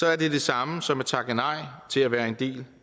er det det samme som at takke nej til at være en del